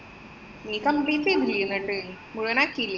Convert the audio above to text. നീ complete ചെയ്തില്ലേ എന്നിട്ട്. മുഴുവനാക്കീല്യേ?